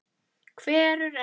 Hverfur ekki.